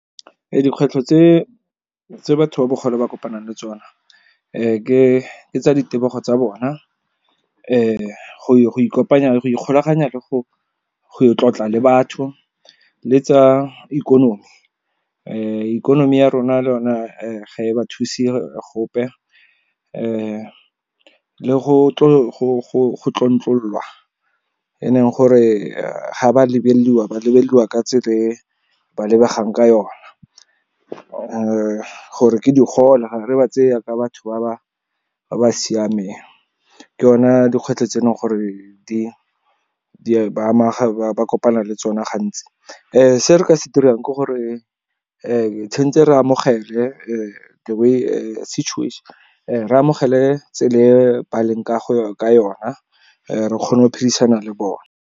Dikgwetlho tse batho ba bogole ba kopanang le tsona ke tsa di tebego tsa bona go ikopanya le go ikgolaganya le go tlotla le batho le tsa ikonomi. Ikonomi ya rona le yona ga e ba thuse gope le go tlontlolwa, e leng gore ga ba lebelelwa, ba lebelelwa ka tsela e ba lebegang ka yone , gore ke digole, ga re ba tseye jaaka batho ba ba siameng. Ke yona dikgwetlho tse e leng gore ba kopana le tsone gantsi. Se re ka se dirang ke gore tshwanetse re amogele tsela e ba leng ka yona, re kgona go phedisana le bone.